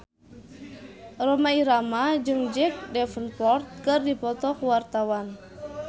Rhoma Irama jeung Jack Davenport keur dipoto ku wartawan